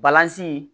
Balanzan